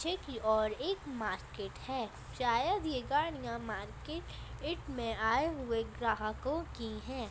पीछे की और एक मार्केट है शायद यह गाड़िया मार्केट इट मे आए हुए ग्राहकों की है।